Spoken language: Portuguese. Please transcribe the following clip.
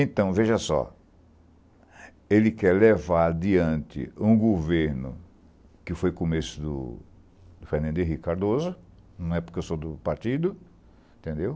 Então, veja só, ele quer levar diante um governo que foi começo do do Fernando Henrique Cardoso, não é porque eu sou do partido, entendeu?